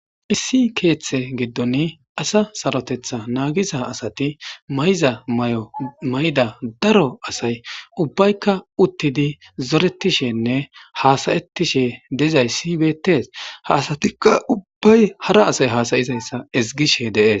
Issi keeththe giddon asa sarotetha naagiza asati mayza may7omayda daro asay ubbaykka uttidi zoretishenne haasayettishe dezayssibeettees ha asatikka ubbay hara asay hasayizayssa ezgishe dees.